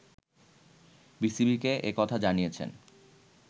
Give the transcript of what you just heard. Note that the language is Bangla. বিবিসিকে একথা জানিয়েছেন